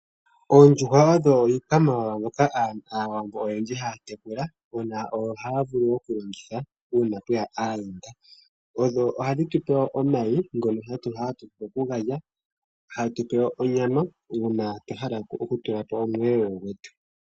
Oondjuhwa odho iikwamawawa mbyoka aawambo oyendji haya tekula no haya vulu wo okulongitha uuna pweya aayenda. Odho hadhi tupe omayi ngono hatu vulu okugalya hadhi tupe woo onyama uuna twa hala okutula po omweelelo gwetu.